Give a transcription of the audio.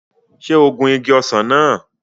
Ṣé o gun igi ọsàn náà?